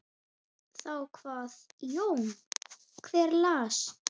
Þá kvað Jón: Hver las?